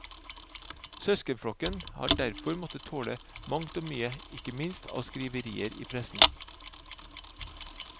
Søskenflokken har derfor måtte tåle mangt og mye, ikke minst av skriverier i pressen.